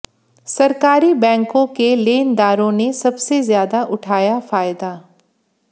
सरकारी बैंकों के लेनदारों ने सबसे ज्यादा उठाया फायदा